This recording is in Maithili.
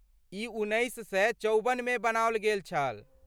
ई उन्नैस सए चौबन मे बनाओल गेल छल।